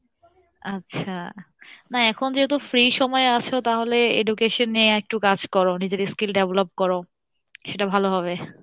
আচ্ছা না এখন যেহেতু free সময়ে আছো তাহলে education নিয়ে একটু কাজ করো নিজের skill develop করো, সেটা ভালো হবে।